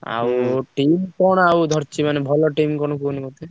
ଆଉ team କଣ ଆଉ ଧରିଛି team କଣ କୁହନି ମତେ?